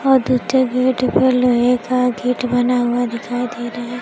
और दुट्टे गेट पे लोहे का गेट बना हुआ दिखाई दे रहा है।